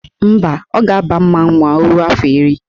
Mba, ọ ga-aba mmanwụ ma o ruo afọ iri